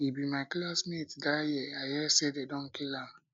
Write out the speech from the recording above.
he be my classmate dat year i hear say dey don kill am